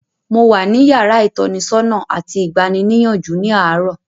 Mo wà ní yàrá ìtọ́nisọ́nà àti ìgbaniníyànjú ní àárọ̀.